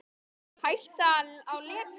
Hætta á leka?